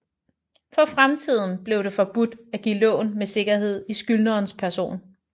For fremtiden blev det forbudt at give lån med sikkerhed i skyldnerens person